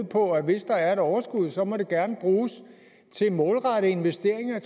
på at hvis der er et overskud så må det gerne bruges til målrettede investeringer